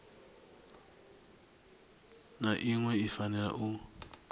na iṅwe i fanela u